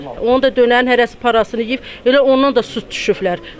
Onu da dönər hərəsi parasını yeyib, elə ondan da su düşüblər.